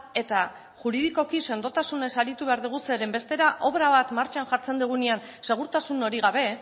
eta juridikoki sendotasunez aritu behar dugu zeren bestela obra bat martxan jartzen dugunean segurtasun hori gabe